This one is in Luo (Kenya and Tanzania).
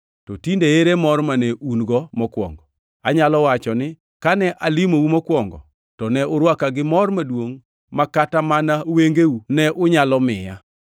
To tinde ere mor mane un-go mokwongo? Anyalo wacho ni kane alimou mokwongo, to ne urwaka gi mor maduongʼ ma kata mana wengeu ne unyalo miya.